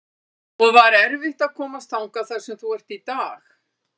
og var erfitt að komast þangað þar sem þú ert í dag?